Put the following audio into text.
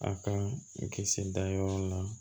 A ka kisi dayɔrɔ la